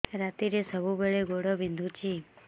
ରାତିରେ ସବୁବେଳେ ଗୋଡ ବିନ୍ଧୁଛି